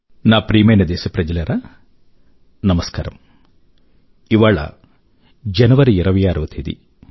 నా ప్రియమైన దేశప్రజలారా నమస్కారం ఇవాళ జనవరి 26వ తేదీ